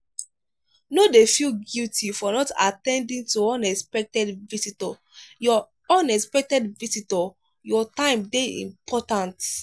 no feel guilty for not at ten ding to unexpected visitor your unexpected visitor your time dey important